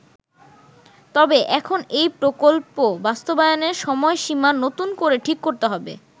তবে এখন এই প্রকল্প বাস্তবায়নের সময়সীমা নতুন করে ঠিক করতে হবে।